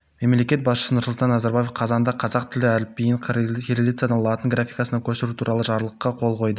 мемлекет басшысы нұрсұлтан назарбаев қазанда қазақ тілі әліпбиін кириллицадан латын графикасына көшіру туралы жарлыққа қол қойды